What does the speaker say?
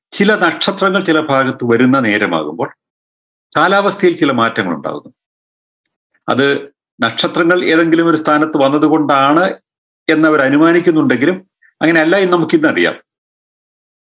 ചില നക്ഷത്രങ്ങൾ ചില ഭാഗത്ത് വരുന്ന നേരമാകുമ്പോൾ കാലാവസ്ഥയിൽ ചില മാറ്റങ്ങളുണ്ടാകുന്നു അത് നക്ഷത്രങ്ങൾ ഏതെങ്കിലു ഒരു സ്ഥാനത്ത് വന്നത് കൊണ്ടാണ് എന്നവരാനുമാനിക്കുന്നുണ്ടെങ്കിലും അങ്ങനെയല്ല എന്ന് നമുക്കിന്നറിയാം